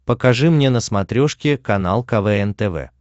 покажи мне на смотрешке канал квн тв